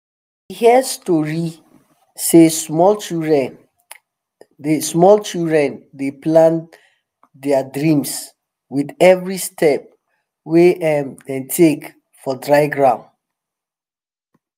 hear story say some children dey children dey plant their dreams with every step wey um dem take for dry ground um